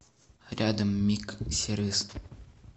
рядом миг сервис